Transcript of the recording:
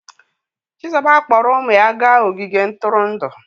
Chizuba kpọọrọ ụmụ ya gaa ogige ntụrụndụ.